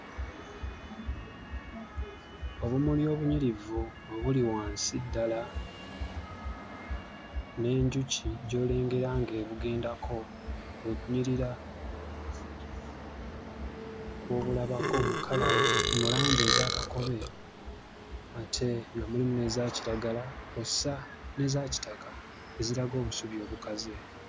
Obumuli obunyirivu bwe buli wansi ddala n'enjuki gy'olengera ng'ebugendako kwe kunyirira kw'obulabako mu langi eza kakobe ate nga mulimu n'eza kiragala kw'ossa n'eza kitaka eziraga obusubi obukaze.